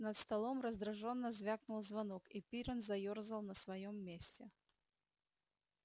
над столом раздражённо звякнул звонок и пиренн заёрзал на своём месте